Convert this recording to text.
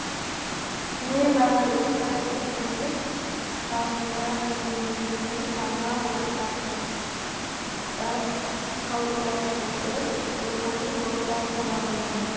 небәрі үш ай студенттік шағымда мен өзімнің жаңа ортам да қалыптастырып рухани достар таба білдім